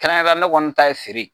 Kɛrɛnkɛrɛnyara ne kɔni ta ye feere ye.